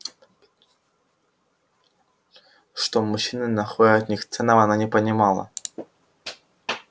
что мужчины находят в них ценного она не понимала